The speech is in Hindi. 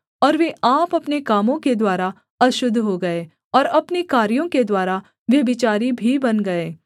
और वे आप अपने कामों के द्वारा अशुद्ध हो गए और अपने कार्यों के द्वारा व्यभिचारी भी बन गए